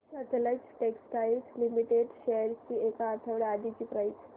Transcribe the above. Sutlej textiles limited shares ची एक आठवड्या आधीची प्राइस